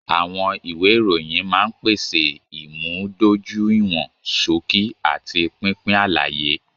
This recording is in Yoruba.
Àwọn ìwé ìròyìn máa ń pèsè ìmúdójúìwọ̀n ṣókí àti pínpín àlàyé.